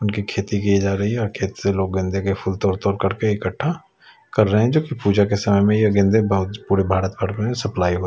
उनकी खेती की जा रही है और खेत से लोग गेंदे के फूल तोड़ तोड़ कर के इकट्ठा कर रहे हैं जो कि पूजा के समय में ये गेंदे बहुत पूरे भारत भर में सप्लाई हो--